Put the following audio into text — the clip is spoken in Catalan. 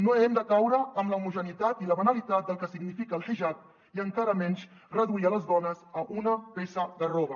no hem de caure en l’homogeneïtat i la banalitat del que significa el hijab i encara menys reduir les dones a una peça de roba